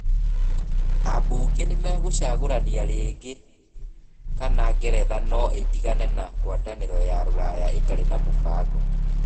Abunge nĩ magũcagũrania rĩngĩ kana Ngeretha no ĩtigane na ngwatanĩro ya rũraya ĩtarĩ na mũbango.